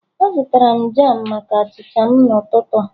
Azụtara m jam maka achịcha m n'ụtụtụ a